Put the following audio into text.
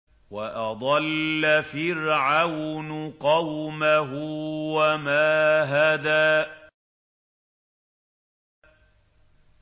وَأَضَلَّ فِرْعَوْنُ قَوْمَهُ وَمَا هَدَىٰ